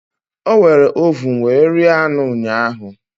O were ovun were rie anụ ụnyahu